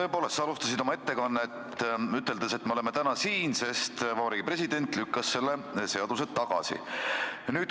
Tõepoolest, sa alustasid oma ettekannet, üteldes, et me oleme täna siin, sest Vabariigi President lükkas selle seaduse tagasi.